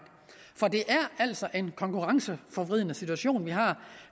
for det er altså en konkurrenceforvridende situation vi har